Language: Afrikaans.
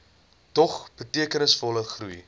dog betekenisvolle groei